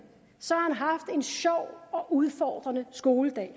har han en sjov og udfordrende skoledag